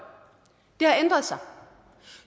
det har ændret sig